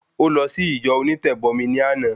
Ó lọ sí ìjọ onítẹ̀bọmi ní àná